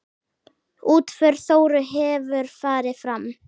Útför Þóru hefur farið fram.